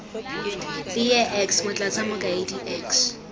teye x motlatsa mokaedi x